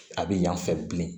A bɛ yan fɛ bilen